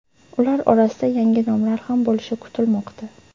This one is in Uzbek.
Ular orasida yangi nomlar ham bo‘lishi kutilmoqda.